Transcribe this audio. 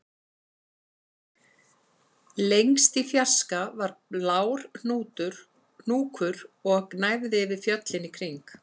Lengst í fjarska var blár hnúkur og gnæfði yfir fjöllin í kring